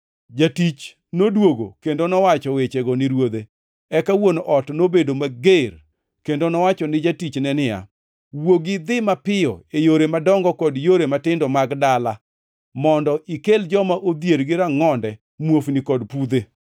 “Jatich noduogo kendo nowacho wechego ni ruodhe. Eka wuon ot nobedo mager kendo nowacho ni jatichne ni, ‘Wuogi idhi mapiyo e yore madongo kod yore matindo mag dala mondo ikel joma odhier gi rangʼonde, muofni kod pudhe.’